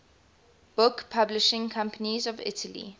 book publishing companies of italy